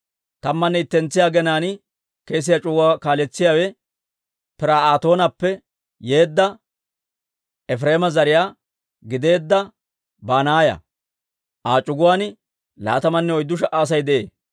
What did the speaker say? Tammanne ittentsiyaa aginaan kesiyaa c'uguwaa kaaletsiyaawe Pir"aatoonappe yeedda, Efireema zariyaa gideedda Banaaya; Aa c'uguwaan laatamanne oyddu sha"a Asay de'ee.